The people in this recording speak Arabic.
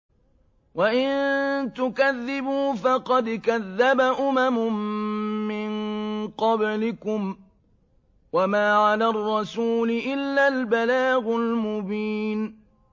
وَإِن تُكَذِّبُوا فَقَدْ كَذَّبَ أُمَمٌ مِّن قَبْلِكُمْ ۖ وَمَا عَلَى الرَّسُولِ إِلَّا الْبَلَاغُ الْمُبِينُ